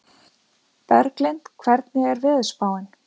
Berglind, hvernig er veðurspáin?